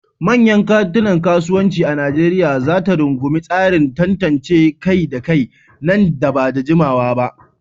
Manyan kantunan kasuwanci a Nijeriya za ta rungumi tsarin tantance kai da kai nan ba da jimawa ba.